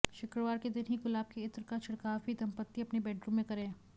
शुक्रवार के दिन ही गुलाब के इत्र का छिड़काव भी दंपती अपने बेडरूम में करे